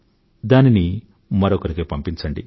దానిని మరొకరికి పంపించండి